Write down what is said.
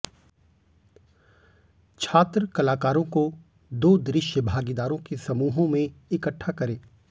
छात्र कलाकारों को दो दृश्य भागीदारों के समूहों में इकट्ठा करें